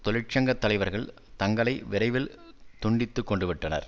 தொழிற்சங்க தலைவர்கள் தங்களை விரைவில் துண்டித்து கொண்டு விட்டனர்